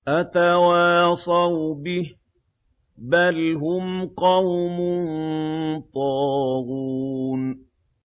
أَتَوَاصَوْا بِهِ ۚ بَلْ هُمْ قَوْمٌ طَاغُونَ